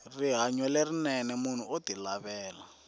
rihanyo lerinene munhu oti lavela